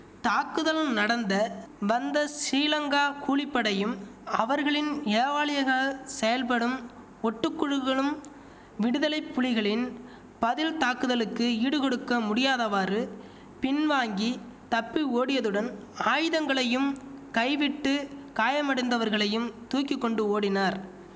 தாக்குதல் நடந்த வந்த சீலங்கா கூலிப்படையும் அவர்களின் ஏவாலளியக செயல்படும் ஒட்டுக்குழுகளும் விடுதலை புலிகளின் பதில் தாக்குதலுக்கு ஈடுகொடுக்க முடியாதவாறு பின் வாங்கி தப்பி ஓடியதுடன் ஆயுதங்களையும் கை விட்டு காயமடைந்தவர்களையும் தூக்கி கொண்டு ஓடினார்